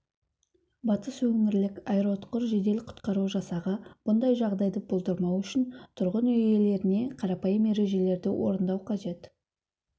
батыс өңірлік аэроұтқыр жедел-құтқару жасағы бұндай жағдайды болдырмау үшін тұрғын үй иелеріне қарапайым ережелерді орындау қажет